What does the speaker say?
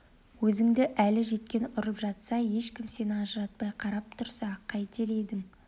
өзіңді әлі жеткен ұрып жатса ешкім сені ажыратпай қарап тұрса қайтер едің